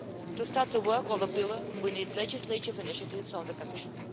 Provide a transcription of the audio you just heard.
To start the work of the pillar, we need legislative initiatives from the Commission.